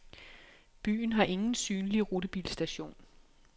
Byen har ingen synlig rutebilstation.